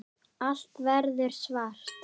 Allt verður svart.